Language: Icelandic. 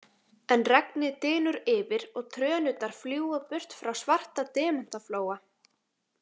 En regnið dynur yfir og trönurnar fljúga burt frá Svarta demantaflóa.